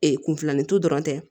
Ee kunfilanintu dɔrɔn tɛ